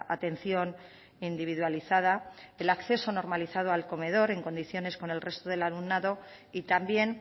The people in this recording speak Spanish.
atención individualizada el acceso normalizado al comedor en condiciones con el resto del alumnado y también